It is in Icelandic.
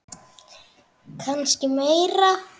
Kannski meira.